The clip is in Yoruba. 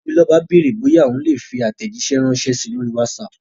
Tobiloba béèrè bóyá òun lè fi àtẹ̀jíṣẹ́ ránṣẹ́ sí i lórí Whatsapp